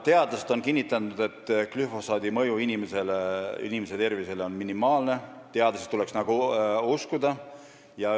Teadlased on aga kinnitanud, et glüfosaadi mõju inimese tervisele on minimaalne, ja seda tuleks uskuda.